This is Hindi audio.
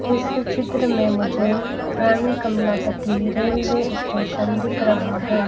इस चित्र में मुझे रानी कमलापति रेलवे स्टेशन दिख रहा है।